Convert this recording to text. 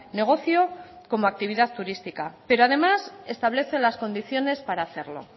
negocio como actividad turística pero además establece las condiciones para hacerlo